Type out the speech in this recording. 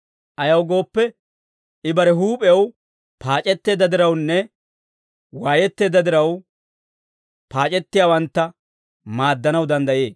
Ayaw gooppe, I bare huup'ew paac'etteedda dirawunne waayetteedda diraw, paac'ettiyaawantta maaddanaw danddayee.